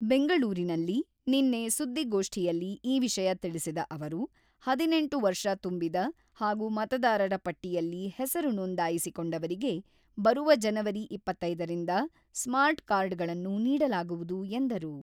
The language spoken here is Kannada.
ಬೆಂಗಳೂರಿನಲ್ಲಿ ನಿನ್ನೆ ಸುದ್ದಿಗೋಷ್ಠಿಯಲ್ಲಿ ಈ ವಿಷಯ ತಿಳಿಸಿದ ಅವರು, ಹದಿನೆಂಟು ವರ್ಷ ತುಂಬಿದ ಹಾಗೂ ಮತದಾರರ ಪಟ್ಟಿಯಲ್ಲಿ ಹೆಸರು ನೋಂದಾಯಿಸಿ ಕೊಂಡವರಿಗೆ ಬರುವ ಜನವರಿ ಇಪ್ಪತ್ತೈದು ರಿಂದ ಸ್ಮಾರ್ಟ್ ಕಾರ್ಡ್‌ಗಳನ್ನು ನೀಡಲಾಗುವುದು ಎಂದರು.